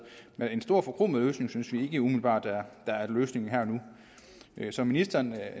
men en stor forkromet løsning synes vi ikke umiddelbart er løsningen her og nu som ministeren